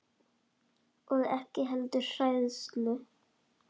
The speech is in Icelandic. Og ekki heldur hræðslu